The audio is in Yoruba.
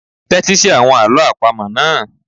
Tẹ́tí sí àwọn àlọ́ àpamọ̀ náà.